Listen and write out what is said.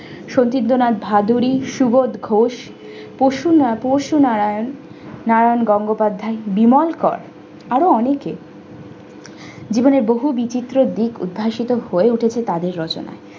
সবৃদ্ধনাথ ভাদুরী সুবোধ ঘোষ পশুনা~ পোষ নারায়ণ নারায়ণ গঙ্গপাধ্যায় বিমলকার আরও অনেকে জীবনের বহু বিচিত্র দিক উদ্ভাসিত হয়ে উঠেছে তাদের রচনায়।